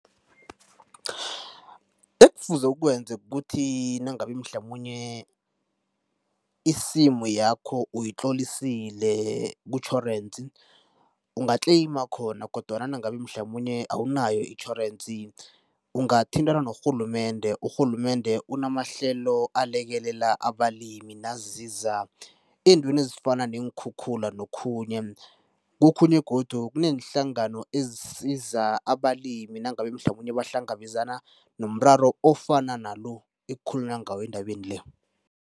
Ekufuze ukwenze kukuthi nangabe mhlamunye isimu yakho uyitlolisile kutjhorensi ungatleyima khona kodwana nangabe mhlamunye awunayo itjhorensi, ungathintana norhulumende. Urhulumende unamahlelo alekelela abalimi naziza eentweni ezifana neenkhukhula nokhunye. Kokhunye godu kuneenhlangano ezisiza abalimi nangabe mhlamunye bahlangabezana nomraro ofana nalo ekukhulunywa ngawo endabeni le.